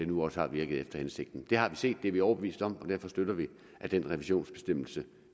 nu også har virket efter hensigten det har vi set det er vi overbevist om og derfor støtter vi at den revisionsbestemmelse